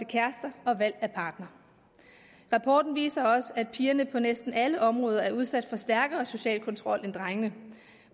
kærester og valg af partnere rapporten viser også at pigerne på næsten alle områder er udsat for en stærkere social kontrol end drengene